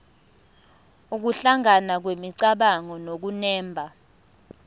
nokuhlangana kwemicabango nokunemba